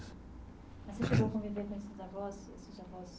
Mas você chegou a conviver com esses avós esses avós.